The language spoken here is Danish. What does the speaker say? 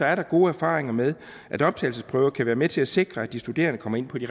er der gode erfaringer med at optagelsesprøver kan være med til at sikre at de studerende kommer ind på de